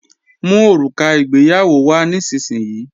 Mú òrùka ìgbéyàwó wá nísinsìnyí!